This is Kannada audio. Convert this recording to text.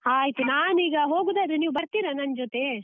ಆಯ್ತು ನಾನೀಗ ಹೋಗೂದಾದ್ರೆ, ನೀವು ಬರ್ತಿರ ನನ್ ಜೊತೆ?